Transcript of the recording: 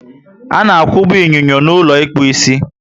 Ana akwuba inyinyo n'ulo ịkpụ isi